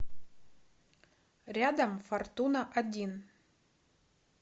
рядом фортуна один